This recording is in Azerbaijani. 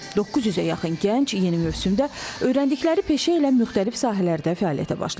900-ə yaxın gənc yeni mövsümdə öyrəndikləri peşə ilə müxtəlif sahələrdə fəaliyyətə başlayacaq.